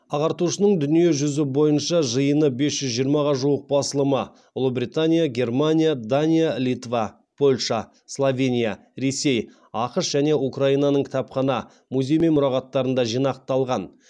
ағартушының дүние жүзі бойынша жиыны бес жүз жиырмаға жуық басылымы ұлыбритания германия дания литва польша словения ресей ақш және украинаның кітапхана музей мен мұрағаттарында жинақталған